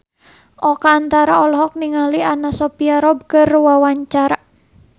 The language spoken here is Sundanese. Oka Antara olohok ningali Anna Sophia Robb keur diwawancara